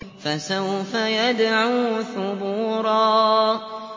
فَسَوْفَ يَدْعُو ثُبُورًا